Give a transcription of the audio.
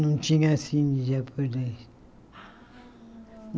Não tinha cine japonês.